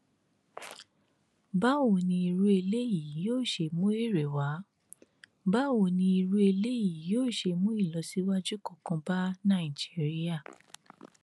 báwo ni irú eléyìí yóò ṣe mú èrè wá báwo ni irú eléyìí yóò ṣe mú ìlọsíwájú kankan bá nàìjíríà